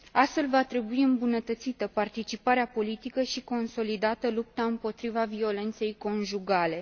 Astfel, va trebui îmbunătățită participarea politică și consolidată lupta împotriva violenței conjugale.